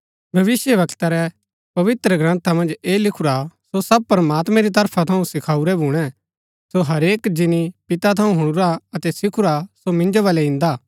भविष्‍यवक्ता रै पवित्रग्रन्था मन्ज ऐह लिखुरा सो सब प्रमात्मैं री तरफा थऊँ सिखाऊरै भूणै सो हरेक जिनी पिता थऊँ हुणुरा अतै सिखुरा सो मिन्जो बलै इन्दा हा